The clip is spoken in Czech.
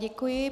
Děkuji.